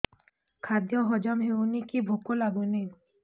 ଖାଦ୍ୟ ହଜମ ହଉନି କି ଭୋକ ଲାଗୁନି